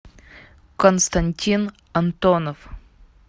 константин антонов